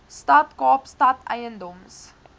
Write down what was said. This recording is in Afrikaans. stad kaapstad eiendoms